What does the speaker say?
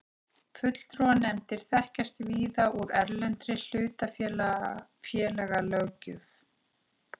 Fulltrúanefndir þekkjast víða úr erlendri hlutafélagalöggjöf.